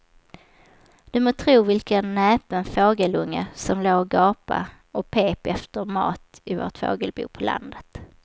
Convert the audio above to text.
Du må tro vilken näpen fågelunge som låg och gapade och pep efter mat i vårt fågelbo på landet.